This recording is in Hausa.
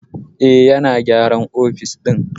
Eh, yana gyaran ofis ɗin